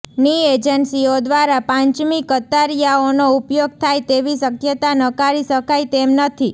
ની એેજન્સીઓ દ્વારા પાંચમી કતારીયાઓનો ઉપયોગ થાય તેવી શકયતા નકારી શકાય તેમ નથી